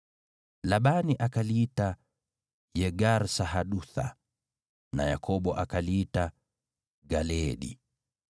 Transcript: Labani akaliita Yegar-Sahadutha na Yakobo akaliita Galeedi.